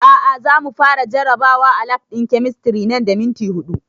A'a za mu fara jarabawa a lab ɗin kemistri nan da minti huɗu